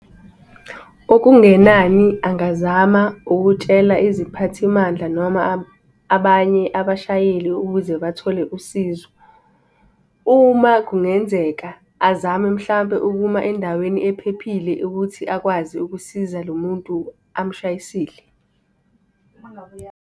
Okungenani angazama ukutshela iziphathimandla noma abanye abashayeli ukuze bathole usizo. Uma kungenzeka azame mhlampe ukuma endaweni ephephile ukuthi akwazi ukusiza lo muntu amshayisile.